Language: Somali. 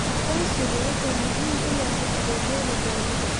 Aqoonsigu wuxuu muhiim u yahay adeegyada dawladda.